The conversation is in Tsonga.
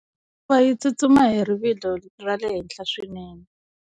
Hikuva yi tsutsuma hi rivilo ra le henhla swinene.